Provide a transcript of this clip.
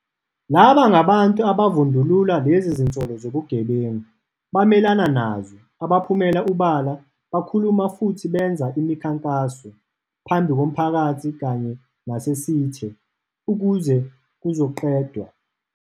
Laba ngabantu abavundulula lezi zinsolo zobugebengu, bamelana nazo, abaphumela obala bakhuluma futhi benza imikhankaso - phambi komphakathi kanye nasesithe - ukuze kuzoqedwa.